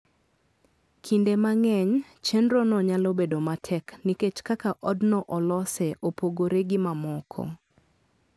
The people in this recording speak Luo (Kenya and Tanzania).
Kinde mang'eny, chenrono nyalo bedo matek nikech kaka odno olose opogore gi mamoko.